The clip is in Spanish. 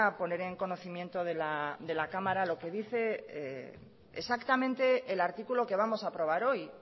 poner en conocimiento de la cámara lo que dice exactamente el artículo que vamos a aprobar hoy